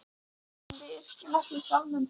En við yrkjum ekki sálma um þá.